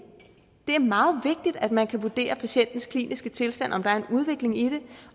er meget vigtigt at man kan vurdere patientens kliniske tilstand om der er en udvikling i den